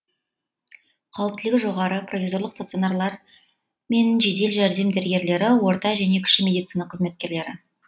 қауіптілігі жоғары провизорлық стационарлар мен жедел жәрдем дәрігерлері орта және кіші медицина қызметкерлері